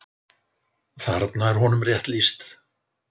Þarna er honum rétt lýst.